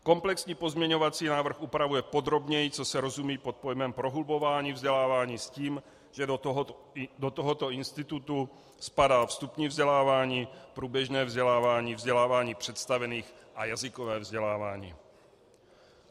Komplexní pozměňovací návrh upravuje podrobněji, co se rozumí pod pojmem prohlubování vzdělávání, s tím, že do tohoto institutu spadá vstupní vzdělávání, průběžné vzdělávání, vzdělávání představených a jazykové vzdělávání.